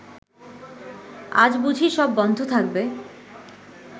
আজ বুঝি সব বন্ধ থাকবে